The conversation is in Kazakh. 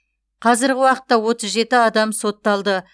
қазіргі уақытта отыз жеті адам сотталды